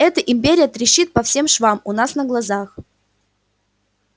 эта империя трещит по всем швам у нас на глазах